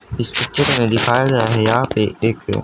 इस पिक्चर में दिखाया गया है यहां पे एक--